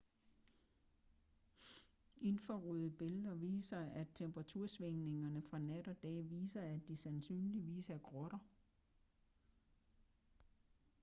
infrarøde billeder viser at temperatursvingningerne fra nat og dag viser at de sandsynligvis er grotter